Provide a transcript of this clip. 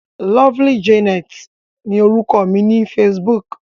Lovely Janet ni orúkọ mi ní Facebook.